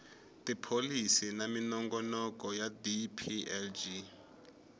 tipholisi na minongonoko ya dplg